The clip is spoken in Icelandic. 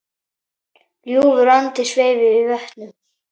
Ljúfur andi sveif yfir vötnum.